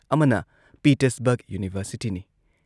ꯑꯃꯅ ꯄꯤꯇꯔꯁꯕꯔꯒ ꯌꯨꯅꯤꯚꯔꯁꯤꯇꯤꯅꯤ